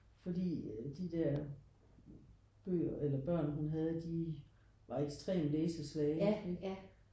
Fordi de der bøger eller børn hun havde de var ekstrem læsesvage ikke?